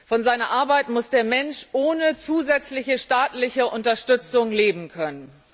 Von seiner Arbeit muss der Mensch ohne zusätzliche staatliche Unterstützung leben können.